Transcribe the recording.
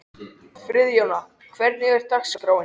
Friðjóna, hvernig er dagskráin?